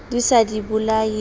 di sa di bolaye di